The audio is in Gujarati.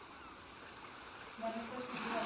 મને તો કીધું